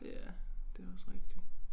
Ja det også rigtigt